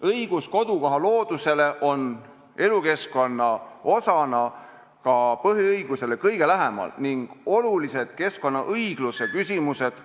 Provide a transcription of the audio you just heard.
Õigus kodukoha loodusele on elukeskkonna osana ka põhiõigusele kõige lähemal ning olulised keskkonnaõigluse küsimused ...